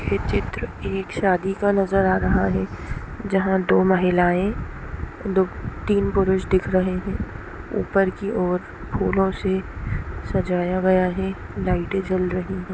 ये चित्र एक शादी का नजर आ रहा है जहाँ दो महिलाएँ दो तीन पुरष दिख रहे है ऊपर की ओर फूलो से सजाया गया है लाईटे जल रही है।